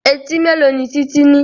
Etí mélòó ni Títí ní?